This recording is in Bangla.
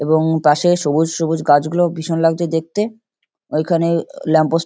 এবং পাশে সবুজ সবুজ গাছগুলো ভীষণ লাগছে দেখতে। ওইখানে ওও ল্যাম্প পোস্ট ।